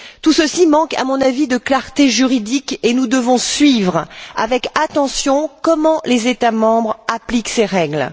Tout ceci manque, à mon avis, de clarté juridique et nous devons suivre avec attention comment les États membres appliquent ces règles.